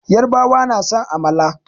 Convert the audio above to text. Yarbawa na son amala.